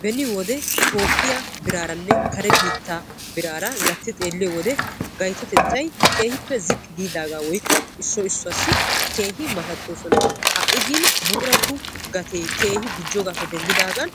Beni wode toophiya biraaranne kare biitta birara gatti xeeliyoode gayttotettay keehippe ziqqi giidaga woykko issoy issuwassi keehi matatosonna ha'i buqurattu gate gujjogappe denddidagn